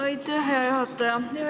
Aitäh, hea juhataja!